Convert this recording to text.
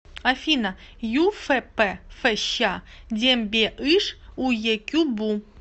афина юфп фщ дембеыш уекюбу